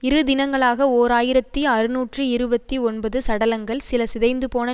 இரு தினங்களாக ஓர் ஆயிரத்தி அறுநூற்றி இருபத்தி ஒன்பது சடலங்கள் சில சிதைந்துபோன